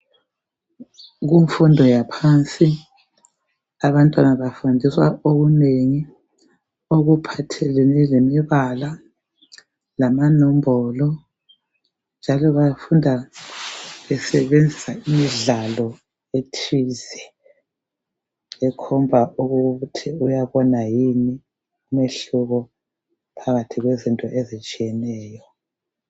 Kumfundo yaphansi abantwana bafundiswa okunengi okuphathelane lemibala lamanombolo njalo bafunda besebenzisa indlalo ethize ekhomba ukuthi uyabona yini umehluko phakathi kwezinto ezitshiyeneyo.